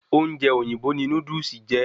Ọ́únje òyìnbó ni Núdúsì jẹ́